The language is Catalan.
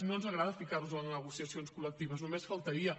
no ens agrada ficar nos en les negociacions col·lectives només faltaria